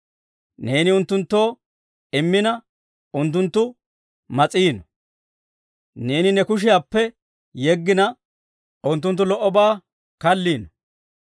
Neeni unttunttoo immina, unttunttu mas'iino; neeni ne kushiyaappe yeggina, unttunttu lo"obaa kalliino.